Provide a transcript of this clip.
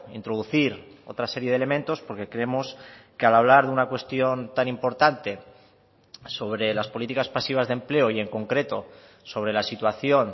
introducir otra serie de elementos porque creemos que al hablar de una cuestión tan importante sobre las políticas pasivas de empleo y en concreto sobre la situación